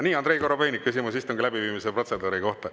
Nii, Andrei Korobeinik, küsimus istungi läbiviimise protseduuri kohta.